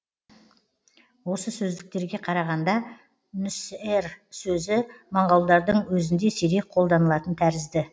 осы сөздіктерге қарағанда нүсэр сөзі моңғолдардың өзінде сирек қолданылатын тәрізді